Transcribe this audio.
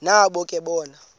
nabo ke bona